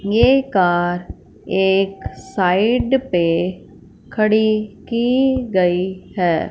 ये कार एक साइड पे खड़ी की गई है।